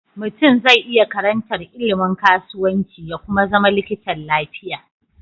Mutun ze iya karantar ilimin kasuwanci ya Kuma zama likitan lafiya